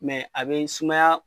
a bɛ sumaya.